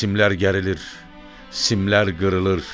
Simlər gərilir, simlər qırılır.